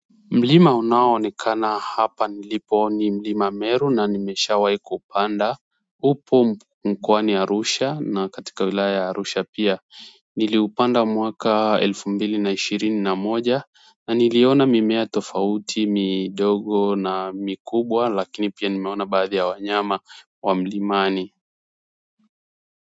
Mlima unao onekana hapa nilipo ni mlima meru na nimeshawahi kuupanda upo mkoani Arusha na katika wilaya ya Arusha pia niliupanda mwaka elfu mbili na ishirini na moja na niliona mimea tofauti midogo na mikubwa lakini pia nimeona baadhi ya wanyama wa mlimani.